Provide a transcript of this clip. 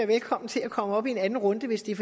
velkommen til at komme op i en anden runde hvis det er